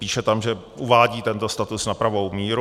Píše tam, že uvádí tento status na pravou míru.